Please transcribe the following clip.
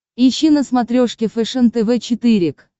ищи на смотрешке фэшен тв четыре к